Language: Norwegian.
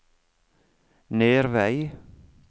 Nervei